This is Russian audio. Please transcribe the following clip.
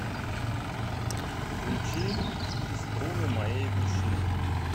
включи струны моей души